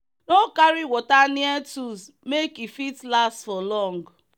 no carry water near tools make e fit last for long